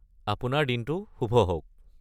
আপোনাৰ দিনটো শুভ হওক!